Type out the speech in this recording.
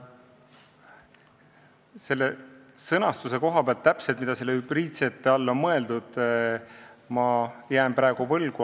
Selle sõnastuse koha pealt, mida selle "hübriidsete" all on mõeldud, jään ma praegu vastuse võlgu.